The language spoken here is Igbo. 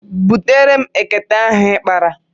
Butere m ekete ahụ ị kpara.